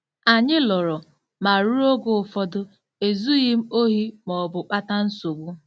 Anyị lụrụ, ma ruo oge ụfọdụ, ezughị m ohi ma ọ bụ kpata nsogbu.